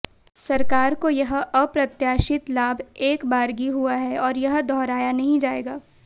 सरकार को यह अप्रत्याशित लाभ एकबारगी हुआ है और यह दोहराया नहीं जाएगा